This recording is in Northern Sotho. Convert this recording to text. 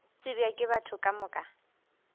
tsebja ke batho ka moka